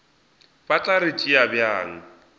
ba tla re tšea bjang